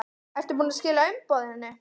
Ertu búinn að skila umboðinu?